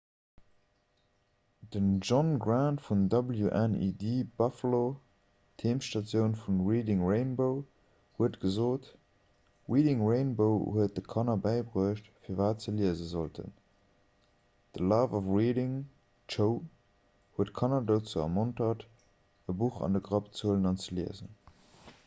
den john grant vu wned buffalo d'heemstatioun vu reading rainbow huet gesot reading rainbow huet de kanner bäibruecht firwat se liese sollten, the love of reading – [d'show] huet kanner dozou ermontert e buch an de grapp ze huelen an ze liesen.